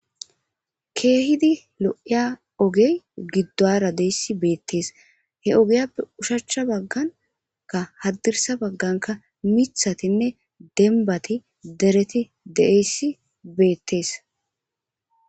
Kehippe loiya ogeyi gidara dayisi beettesi he ogappe oshshucha baganikk hadirisara bagganikka miththatinne demibati dereti deeiyayisi betesi